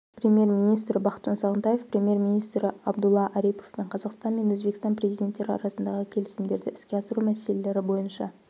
премьер-министрі бақытжан сағынтаев премьер-министрі абдулла ариповпен қазақстан мен өзбекстан президенттері арасындағы келісімдерді іске асыру мәселелері бойынша